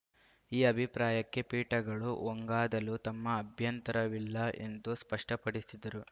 ಈ ಅಭಿಪ್ರಾಯಕ್ಕೆ ಪೀಠಗಳು ಒಂಗಾದಲು ತಮ್ಮ ಅಭ್ಯಂತರವಿಲ್ಲ ಎಂದು ಸ್ಪಷ್ಟಪಡಿಸಿದರು